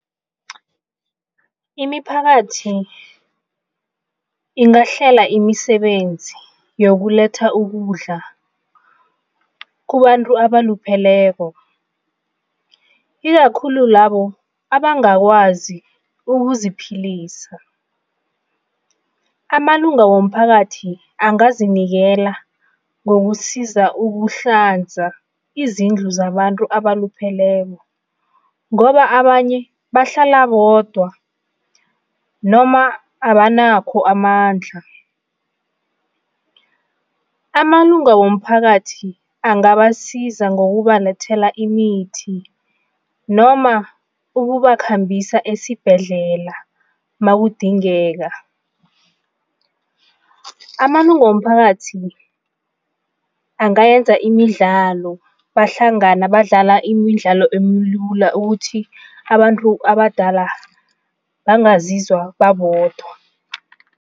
Imiphakathi ingahlela imisebenzi yokuletha ukudla kubantu abalupheleko ikakhulu labo abangakwazi ukuziphilisa. Amalunga womphakathi angazinikela ngokusiza ukuhlanza izindlu zabantu abalupheleko ngoba abanye bahlala bodwa noma abanakho amandla. Amalunga womphakathi angabasiza ngokubalethela imithi noma ukubakhambisa esibhedlela makudingeka. Amalunga womphakathi angayenza imidlalo, bahlangana badlala imidlalo emilula ukuthi abantu abadala bangazizwa babodwa.